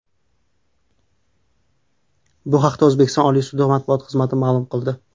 Bu haqda O‘zbekiston Oliy sudi matbuot xizmati ma’lum qildi .